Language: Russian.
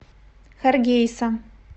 харгейса